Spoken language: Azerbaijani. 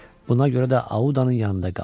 Buna görə də Audanın yanında qaldı.